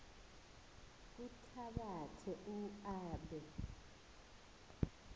kuthabatha u aabe